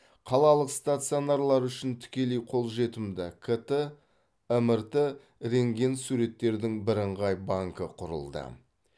қалалық стационарлар үшін тікелей қолжетімді кт мрт рентген суреттердің бірыңғай банкі құрылды